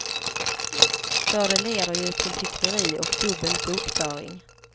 För det leder ju till hyckleri och dubbel bokföring.